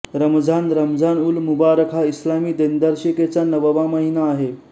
रमझान रमझानउल मुबारक हा इस्लामी दिनदर्शिकेचा नववा महिना आहे